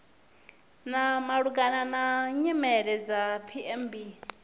malugana na nyimele dza pmb